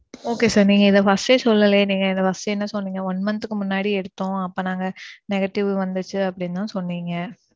Okay sir. நீங்க இத first day சொல்லலேயே நீங்க என்ட first என்ன சொன்னிங்க one month க்கு முன்னாடி எடுத்தோம். அப்ப நாங்க negative வந்திச்சு அப்பிடின்னு தான் சொன்னிங்க.